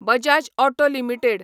Bajaj auto limited